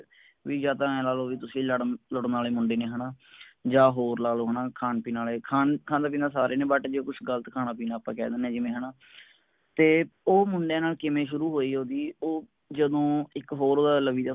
ਵੀ ਯਾ ਤਾਂ ਐਂ ਲਾਲੋ ਵੀ ਤੁਸੀ ਲੜਨ ਲੁੱਡਣ ਆਲੇ ਮੁੰਡੇ ਨੀ ਯਾ ਹੋਰ ਲਾਲੋ ਹੈਨਾ ਖਾਨ ਪੀਣ ਆਲੇ ਖਾਂਦੇ ਪੀਂਦੇ ਸਾਰੇ ਨੇ but ਜੇ ਕੁਸ਼ ਗਲਤ ਖਾਣਾ ਪੀਨਾ ਆਪ ਕਹਿ ਦੇਨੇਂ ਆਂ ਹੈਨਾ ਤੇ ਓ ਮੁੰਡਿਆਂ ਨਾਲ ਕਿਵੇਂ ਸ਼ੁਰੂ ਹੋਈ ਓਹਦੀ ਓ ਜਦੋਂ ਇਕ ਹੋਰ ਓਹਦਾ ਲਵੀ